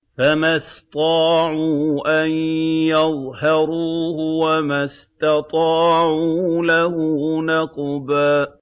فَمَا اسْطَاعُوا أَن يَظْهَرُوهُ وَمَا اسْتَطَاعُوا لَهُ نَقْبًا